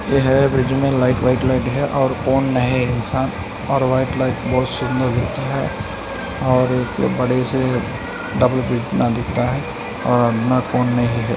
यह ब्रिज मे light white लगे है और कोन इंसान और व्हाइट लाइट बहुत सुंदर और बड़े से डब्ल्यू पि दिखता है और